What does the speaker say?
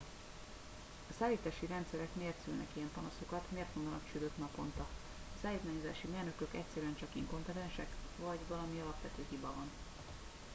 a szállítási rendszerek miért szülnek ilyen panaszokat miért mondanak csődöt naponta a szállítmányozási mérnökök egyszerűen csak inkompetensek vagy valami alapvető hiba van